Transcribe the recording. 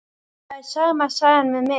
Það er sama sagan með mig.